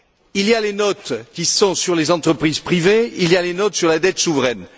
Il y a les notes sur les entreprises privées, il y a les notes sur la dette souveraine.